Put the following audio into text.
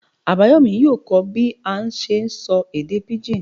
Abayomí yóò kọ́ bí a n ṣe sọ èdè pigín